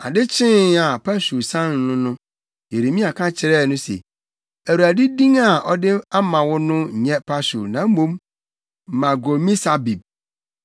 Ade kyee a Pashur san no no, Yeremia ka kyerɛɛ no se, “ Awurade din a ɔde ama wo no nyɛ Pashur na mmom Magormisabib.